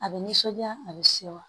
A bɛ nisɔnja a bɛ se wa